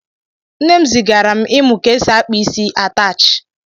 Nne m zigara m imụ ka-esi akpa isi ataachi